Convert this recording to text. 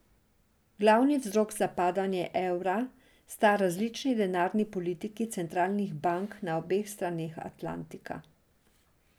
Glavni vzrok za padanje evra sta različni denarni politiki centralnih bank na obeh straneh Atlantika.